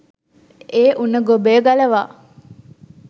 ඒ උණ ගොබය ගලවා